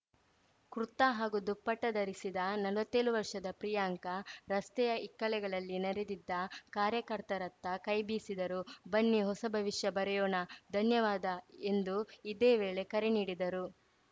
ಕುರ್ತಾ ಹಾಗೂ ದುಪಟ್ಟಾಧರಿಸಿದ್ದ ನಲ್ವತ್ತೇಳು ವರ್ಷದ ಪ್ರಿಯಾಂಕಾ ರಸ್ತೆಯ ಇಕ್ಕೆಲಗಳಲ್ಲಿ ನೆರೆದಿದ್ದ ಕಾರ್ಯಕರ್ತರತ್ತ ಕೈಬೀಸಿದರು ಬನ್ನಿ ಹೊಸ ಭವಿಷ್ಯ ಬರೆಯೋಣ ಧನ್ಯವಾದ ಎಂದು ಇದೇ ವೇಳೆ ಕರೆ ನೀಡಿದರು